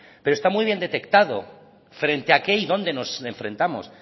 pero está muy bien detectado frente a qué y dónde nos enfrentamos